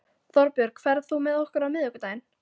Þorbjörg, ferð þú með okkur á miðvikudaginn?